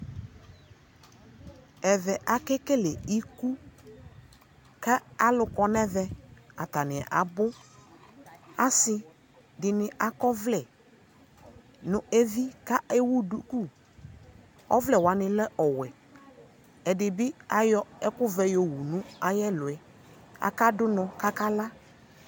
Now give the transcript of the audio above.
ɛvɛ akɛ kɛlɛikʋ ka alʋ kɔnʋ ɛvɛ, atani abʋ, asii dini akɔ ɔvlɛ nʋ ɛvi kʋ ɛwʋ dʋkʋ, ɔvlɛ wanilɛ ɔwɛ, ɛdibiayɔ ɛkʋ vɛ yɔ wʋnʋ ayi ɛlʋɛ, aka dʋnɔ kʋ aka la